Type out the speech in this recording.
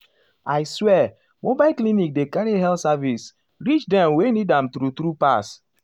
i swear mobile clinic dey carry health service reach dem wey need am true- true pass.